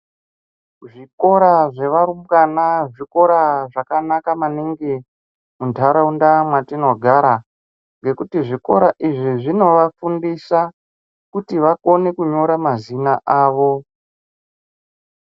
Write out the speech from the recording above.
Zvikora zvevarumbwana zvikora zvakanaka maningi muntaraunda mwatinogara . Ngekuti zvikora izvi zvinovafundisa kuti vakone kunyora mazina awo.